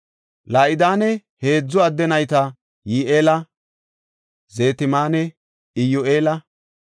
La7idane heedzu adde nayti Yi7eela, Zetaamanne Iyyu7eela.